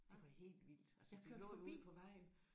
Det var helt vildt altså det lå jo ude på vejen